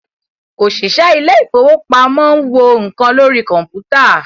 òṣìṣẹ́ ilé ìfọwọ́pamo ń wo nǹkan lórí kọ̀mpútà.